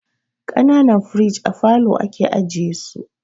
Kanan firiji a falo ake ajiye su